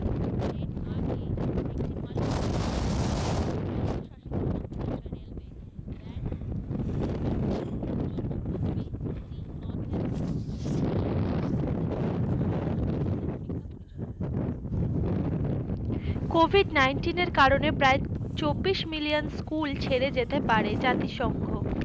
Covid nineteen এর কারণে প্রায় চব্বিশ million স্কুল ছেড়ে যেতে পারে জাতি সংঘ,